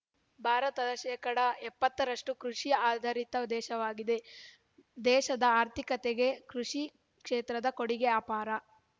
ಭಾರತ ಶೇಕಡಾ ಎಪ್ಪತ್ತು ರಷ್ಟುಕೃಷಿ ಆಧಾರಿತ ದೇಶವಾಗಿದೆ ದೇಶದ ಆರ್ಥಿಕತೆಗೆ ಕೃಷಿ ಕ್ಷೇತ್ರದ ಕೊಡುಗೆ ಅಪಾರ